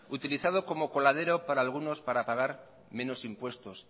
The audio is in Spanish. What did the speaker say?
utilizado como coladero por algunos para pagar menos impuestos